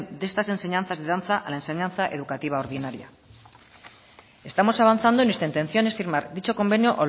de estas enseñanzas de danza a la enseñanza educativa ordinaria estamos avanzando y nuestra intención es firmar dicho convenio